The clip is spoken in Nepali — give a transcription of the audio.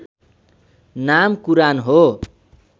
नाम कुरान हो